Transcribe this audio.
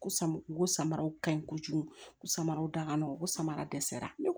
Ko sama u ko ko samaraw ka ɲi kojugu k'u samara dakana u samara dɛsɛra ne bolo